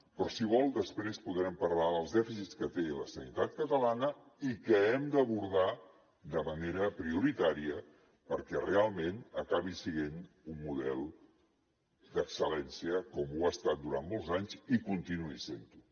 però si vol després podrem parlar dels dèficits que té la sanitat catalana i que hem d’abordar de manera prioritària perquè realment acabi sent un model d’excellència com ho ha estat durant molts anys i continuï sent ho